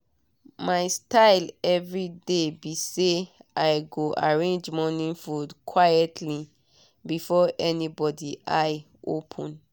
my style everyday be say i go arrange morning food quietly before anybody open eye